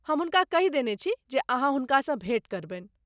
हम हुनका कहि देने छी जे अहाँ हुनकासँ भेँट करबनि ।